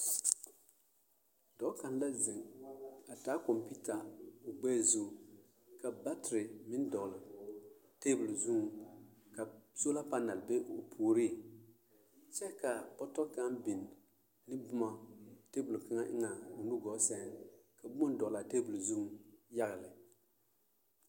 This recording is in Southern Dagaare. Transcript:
Dɔɔ kaŋ la zeŋ a taa kɔmpiita o ɡbɛɛ zuŋ ka batere meŋ dɔɔ teebul zuŋ ka sola panɛl be o puoriŋ kyɛ ka bɔtɔ kaŋ biŋ ne boma teebul kaŋa eŋɛ o nuɡɔɔ sɛŋ ka boma dɔɔle a teebul zuiŋ yaɡa lɛ.